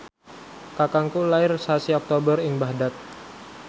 kakangku lair sasi Oktober ing Baghdad